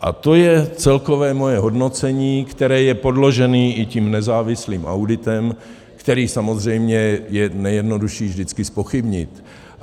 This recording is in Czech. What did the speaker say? A to je celkové moje hodnocení, které je podloženo i tím nezávislým auditem, který samozřejmě je nejjednodušší vždycky zpochybnit.